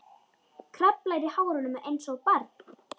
Kraflar í hárunum einsog barn.